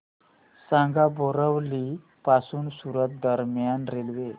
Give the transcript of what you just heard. सांगा बोरिवली पासून सूरत दरम्यान रेल्वे